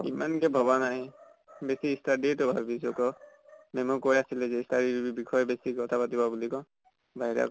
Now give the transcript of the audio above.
ইমান কে ভবা নাই। বেছি study য়ে ত ভাবিছো আকৌ। ma'am য়ে কৈ আছিলে study ৰ বিষয়ে বেছি কথা পাতিবা বুলি আকৌ। বাহিৰা